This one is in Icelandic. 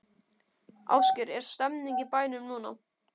Ásgeir, er stemning í bænum núna?